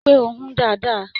Rí pé o hùn dáadáa!